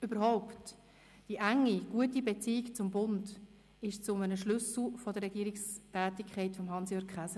Überhaupt wurde die enge und gute Beziehung zum Bund zu einem Schlüssel der Regierungstätigkeit von Hans-Jürg Käser.